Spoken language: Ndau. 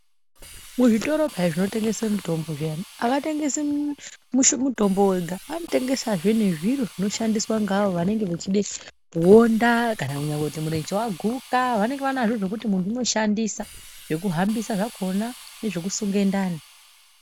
Muzvitoro pheya zviya zvinotengese mitombo havatengesi mitombo yega, vanotengesezve nezviro zveavo vanenge vechide kuonda kana kuti munyeshe waguka vanenge vanazvo zvokuti muntu anohambisa zvakona nezvokusunga ndare.